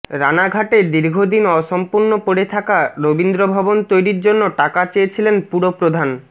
রানাঘাটে দীর্ঘ দিন অসম্পুর্ণ পড়ে থাকা রবীন্দ্রভবন তৈরির জন্য টাকা চেয়েছিলেন পুরপ্রধান